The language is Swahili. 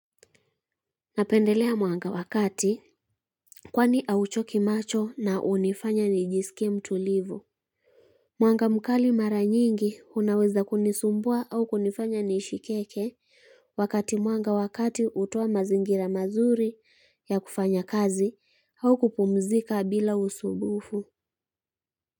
Napendelea mwanga wa kati kwani hauchoki macho na unifanya nijiskie mtu livu. Mwanga mkali mara nyingi unaweza kunisumbua au kunifanya niishikeke wakati mwanga wakati utoa mazingira mazuri ya kufanya kazi au kupumzika bila usumbufu.